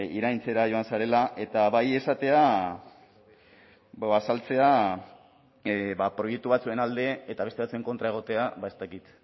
iraintzera joan zarela eta bai esatea proiektu batzuen alde eta beste batzuen kontra egotea ez dakit